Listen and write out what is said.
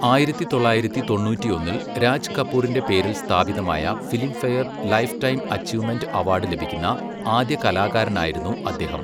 ആയിരത്തി തൊള്ളായിരത്തി തൊണ്ണൂറ്റിയൊന്നിൽ രാജ് കപൂറിന്റെ പേരിൽ സ്ഥാപിതമായ Filmfare lifetime achievement award ലഭിക്കുന്ന ആദ്യ കലാകാരനായിരുന്നു അദ്ദേഹം.